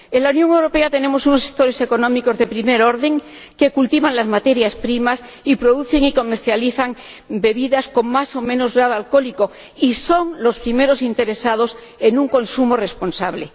En la Unión Europea tenemos unos sectores económicos de primer orden que cultivan las materias primas y producen y comercializan bebidas con más o menos grado alcohólico, y son los primeros interesados en un consumo responsable.